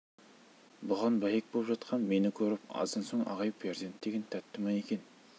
бұған бәйек боп жатқан мені көріп аздан соң ағай перзент деген тәтті ма екен